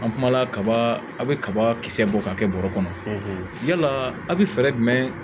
An kumala kaba a be kaba kisɛ bɔ ka kɛ bɔrɔ kɔnɔ yala a be fɛɛrɛ jumɛn